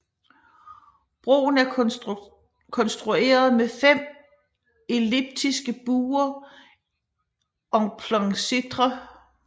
Broen er konstrueret med fem elliptiske buer en plein cintre